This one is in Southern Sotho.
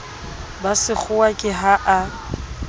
ba sekgowa ke ha a